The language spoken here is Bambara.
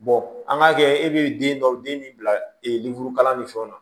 an k'a kɛ e bɛ den dɔw den min bila lemurukala ni fɛnw na